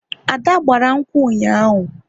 Ada gbara nkwu ụnyaahụ